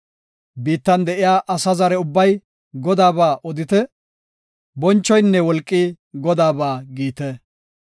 Biittan de7iya asa zare ubbay Godaaba odite; bonchoynne wolqi Godaaba giite.